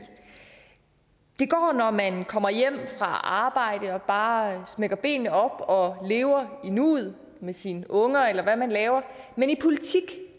det går når man kommer hjem fra arbejde og bare smækker benene op og lever i nuet med sine unger eller hvad man laver men i politik